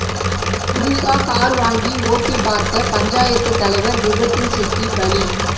புதுசா கார் வாங்கி ஓட்டிப் பார்த்த பஞ்சாயத்து தலைவர் விபத்தில் சிக்கி பலி